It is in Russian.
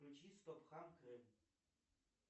включи стоп хам